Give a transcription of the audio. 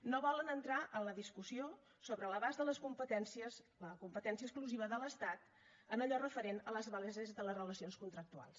no volen entrar en la discussió sobre l’abast de les competències la competència exclusiva de l’estat en allò referent a les bases de les relacions contractuals